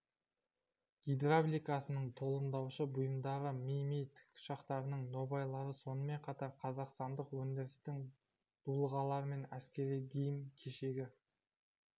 гидравликасының толымдаушы бұйымдары ми ми тікұшақтарының нобайлары сонымен қатар қазақстандық өндірістің дулығалары мен әскери киім-кешегі